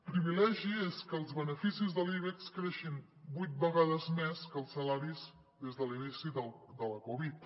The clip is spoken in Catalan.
privilegi és que els beneficis de l’ibex creixin vuit vegades més que els salaris des de l’inici de la covid